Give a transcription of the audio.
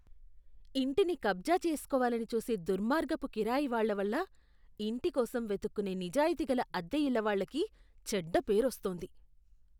ఇంటిని కబ్జా చేస్కోవాలని చూసే దుర్మార్గపు కిరాయి వాళ్ళ వల్ల ఇంటి కోసం వెతుక్కునే నిజాయతీగల అద్దెఇళ్ళవాళ్ళకి చెడ్డ పేరు వస్తోంది.